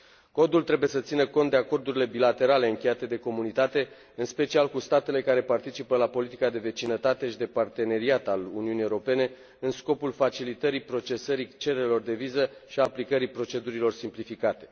Codul trebuie să țină cont de acordurile bilaterale încheiate de Comunitate, în special cu statele care participă la politica de vecinătate și de parteneriat a Uniunii Europene, în scopul facilitării procesării cererilor de viză și aplicării procedurilor simplificate.